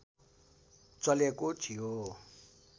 चलेको थियो